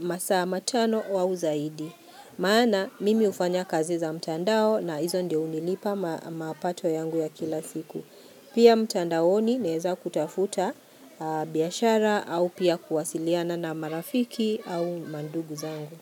masaa matano au zaidi. Maana, mimi hufanya kazi za mtandao na hizo ndio hunilipa mapato yangu ya kila siku. Pia mtandaoni neza kutafuta biashara au pia kuwasiliana na marafiki au mandugu zangu.